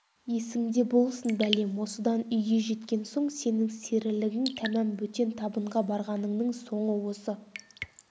есіңде болсын бәлем осыдан үйге жеткен соң сенің серілігің тәмам бөтен табынға барғаныңның соңы осы